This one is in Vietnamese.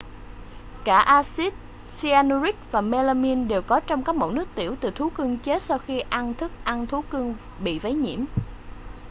cả axit cyanuric và mêlamin đều có trong các mẫu nước tiểu từ thú cưng chết sau khi ăn thức ăn thú cưng bị vấy nhiễm